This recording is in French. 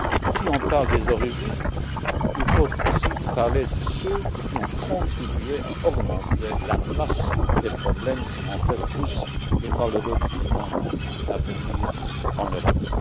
Si on parle des origines, il faut aussi parler de ceux qui ont contribué à augmenter la masse des problèmes qui, en fait, poussent les malheureux de ce monde à venir en Europe.